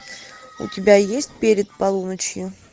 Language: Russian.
у тебя есть перед полуночью